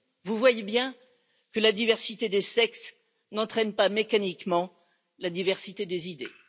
Vous voyez bien que la diversité des sexes n'entraîne pas mécaniquement la diversité des idées.